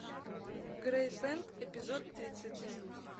грейсленд эпизод тридцать